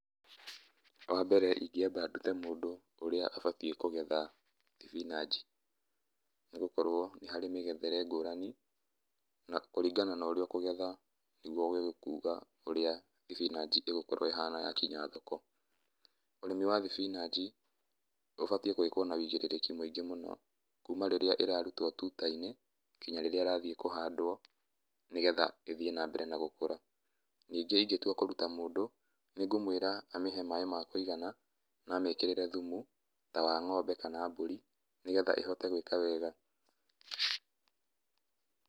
Wambere ingĩamba ndute mũndũ ũrĩa abatiĩ kũgetha thibinanji, nĩgũkorwo nĩharĩ mĩgethere ngũrani, na kũringana na ũrĩa ũkũgetha nĩgwo ũgũkiuga ũrĩa thibinanji ĩgũkorwo ĩhana yakinya thoko. Ũrĩmi wa thibinanji ũbatiĩ gwĩkwo na ũigĩrĩrĩki mũingĩ mũno kuuma rĩrĩa ĩrarutwo tuta-inĩ nginya rĩrĩa ĩrathiĩ kũhandwo nĩgetha ĩthiĩ nambere na gũkũra. Ningĩ ingĩtua kũruta mũndũ, nĩngũmwĩra amĩhe maaĩ ma kũigana na amĩkĩrĩre thumu ta wa ng'ombe kana mbũri, nĩgetha ĩhote gwĩka wega.